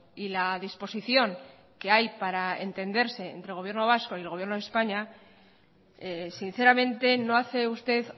y la disposición que hay para entenderse entre gobierno vasco y el gobierno de españa sinceramente no hace usted